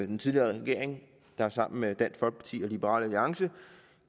den tidligere regering der sammen med dansk folkeparti og liberal alliance